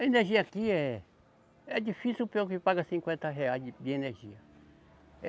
A energia aqui é, é difícil quem paga cinquenta reais de, de energia.